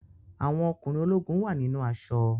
Àwọn ọkùnrin ológun wà nínú aṣọ.